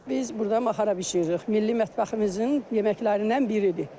Biz burda maxara bişiririk, milli mətbəximizin yeməklərindən biridir.